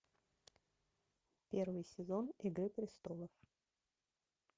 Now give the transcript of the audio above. первый сезон игры престолов